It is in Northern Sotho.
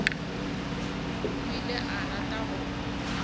o ile a rata go